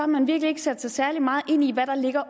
man virkelig ikke sat sig særlig meget ind i hvad der ligger